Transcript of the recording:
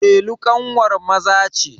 Delu ƙanwar Maza ce.